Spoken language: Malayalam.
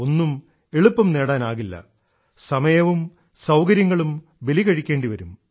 ഒന്നും എളുപ്പം നേടാനാകില്ല സമയവും സൌകര്യങ്ങളും ബലികഴിക്കേണ്ടിവരും